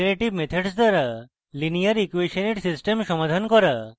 iterative methods দ্বারা linear ইকুয়়েসনের system সমাধান করা